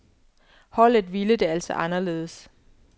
Holdet ville det altså anderledes.